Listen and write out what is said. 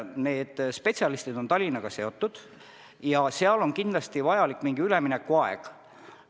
Need spetsialistid on Tallinnaga seotud ja seal on kindlasti vajalik mingi üleminekuaeg.